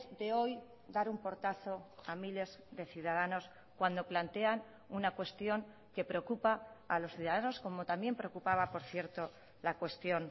de hoy dar un portazo a miles de ciudadanos cuando plantean una cuestión que preocupa a los ciudadanos como también preocupaba por cierto la cuestión